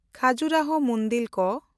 ᱠᱷᱟᱡᱩᱨᱟᱦᱳ ᱢᱩᱱᱫᱤᱞ ᱠᱚ